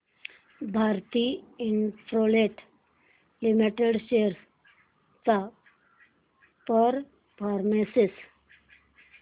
Bharti Infratel limited shares चा performance